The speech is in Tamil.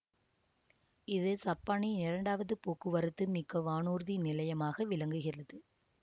இது சப்பானின் இரண்டாவது போக்குவரத்து மிக்க வானூர்தி நிலையமாக விளங்குகிறது